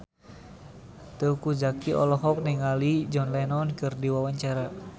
Teuku Zacky olohok ningali John Lennon keur diwawancara